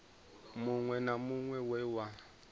muṅwe na muṅwe we wa